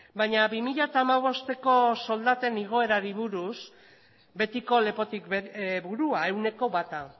baina bi mila hamabosteko soldaten igoerari buruz betiko lepotik burua ehuneko bata